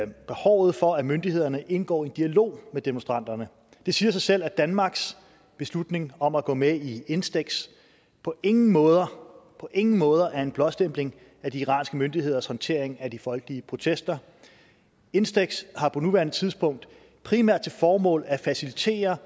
behovet for at myndighederne indgår i en dialog med demonstranterne det siger sig selv at danmarks beslutning om at gå med i instex på ingen måder på ingen måder er en blåstempling af de iranske myndigheders håndtering af de folkelige protester instex har på nuværende tidspunkt primært til formål at facilitere